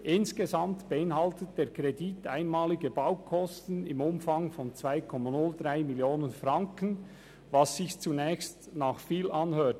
Insgesamt beinhaltet der Kredit einmalige Baukosten im Umfang von 2,03 Mio. Franken, was sich zunächst nach viel anhört.